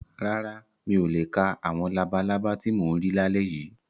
Rárá, mi ò le ka àwọn labalábá ti mò ń rí lálẹ́ yìí.